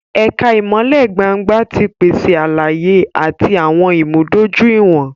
Ẹka ìmọlẹ gbángba ti pese àlàyé ati awọn ìmúdójúìwọ̀n